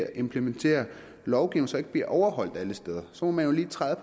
at implementere lovgivning som ikke bliver overholdt alle steder så må man jo lige træde